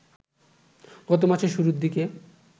গত মাসের শুরুর দিকে